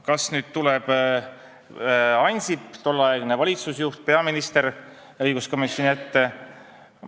Kas Ansip, tolleaegne valitsusjuht, peaminister, tuleb õiguskomisjoni ette?